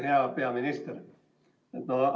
Hea peaminister!